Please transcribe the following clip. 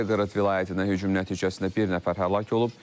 Belqorod vilayətində hücum nəticəsində bir nəfər həlak olub.